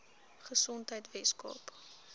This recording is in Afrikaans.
gesondheidweskaap